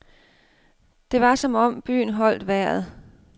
Det var som om byen holdt vejret.